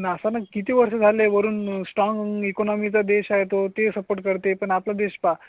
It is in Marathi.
नासा नं किती वर्ष झाले? वरून स्ट्रॉंग इकॉनॉमी चा देश आहे तो ते सपोर्ट करते पण आपला देश पहा